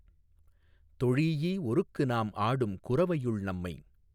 தொழீஈ ஒருக்கு நாம் ஆடும் குரவையுள் நம்மை